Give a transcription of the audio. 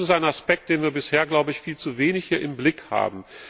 Das ist ein Aspekt, den wir bisher, glaube ich, viel zu wenig hier im Blick haben.